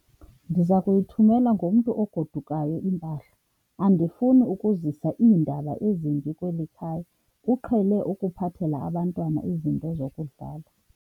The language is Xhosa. Ndiza kuyithumela ngomntu ogodukayo impahla. andifuni ukuzisa iindaba ezimbi kweli khaya, uqhele ukuphathela abantwana izinto zokudlala